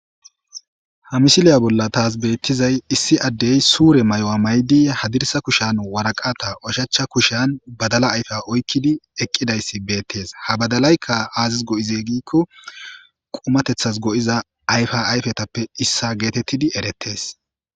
Ha misiliya bolla taas beeththizay issi addee suure mayuwa maayidi haddirssa kushiyan waraqataa ushachcha kushiyan badalaa ayfiya oykkidi eqqidayssi beeththees; ha badalaykka ays go7izee giikko qumaththeththas go7iza ayfaayfethappe issa geetheththidi ereththees.